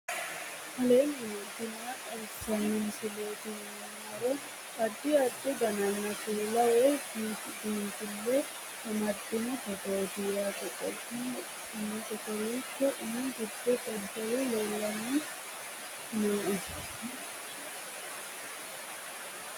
aleenni nooti maa xawisanno misileeti yinummoro addi addi dananna kuula woy biinsille amaddino footooti yaate qoltenno baxissannote kowiicho minu giddo dadalu lellanni nooe